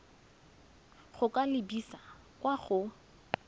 go ka lebisa kwa go